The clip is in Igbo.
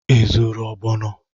Ị zụrụ ogbono?